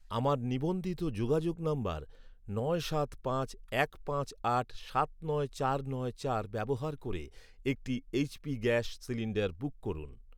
আমার নিবন্ধিত যোগাযোগ নম্বর নয় সাত পাঁচ এক পাঁচ আট সাত নয় চার নয় চার ব্যবহার করে একটি এইচ.পি গ্যাস সিলিন্ডার বুক করুন।